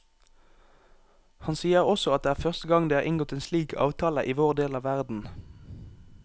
Han sier også at det er første gang det er inngått en slik avtale i vår del av verden.